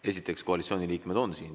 Esiteks, koalitsiooni liikmed on siin.